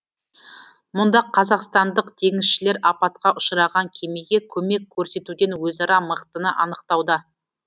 мұнда қазақстандық теңізшілер апатқа ұшыраған кемеге көмек көрсетуден өзара мықтыны анықтауда